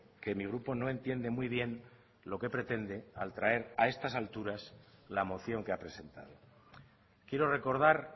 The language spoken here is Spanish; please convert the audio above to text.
que mi grupo no entiende muy bien lo que pretende al traer a estas alturas la moción que ha presentado quiero recordar